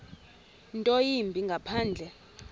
nto yimbi ngaphandle